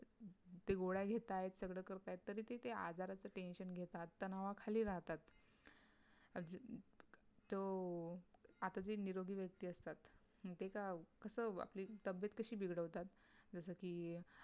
ते गोळ्या घेतायत सगळं करतायत तरी ते त्या आजाराचं tension घेतात तणावाखाली राहतात जो आता जे निरोगी व्यक्ती असतात ते काय कस आपली तब्येत कशी बिघडवतात, जस कि